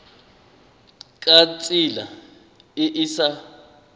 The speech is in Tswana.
ka tsela e e sa